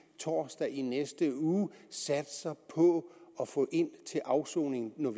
torsdag i næste uge satser på at få ind til afsoning når